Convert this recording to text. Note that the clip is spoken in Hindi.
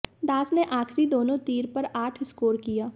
दास ने आखिरी दोनों तीर पर आठ स्कोर किया